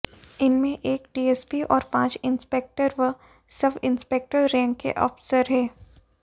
इनमें एक डीएसपी और पांच इंस्पेक्टरव सब इंस्पेक्टर रैंक के अफसर हैं